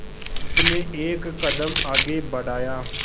उसने एक कदम आगे बढ़ाया